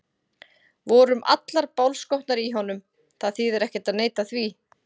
Við vorum allar bálskotnar í honum, það þýðir ekkert að neita því.